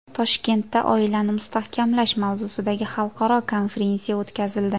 Toshkentda oilani mustahkamlash mavzusidagi xalqaro konferensiya o‘tkazildi.